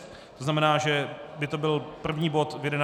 To znamená, že by to byl první bod v 11 hodin.